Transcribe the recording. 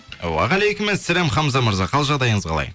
уағалейкумассәләм хамза мырза қал жағдайыңыз қалай